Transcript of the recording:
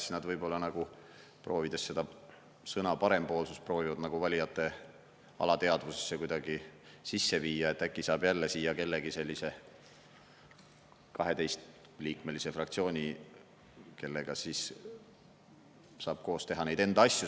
Siis nad võib-olla nagu, proovides seda sõna parempoolsus, proovivad nagu valijate alateadvusesse kuidagi sisse viia, et äkki saab jälle siia kellegi sellise 12-liikmelise fraktsiooni, kellega siis saab koos teha neid enda asju.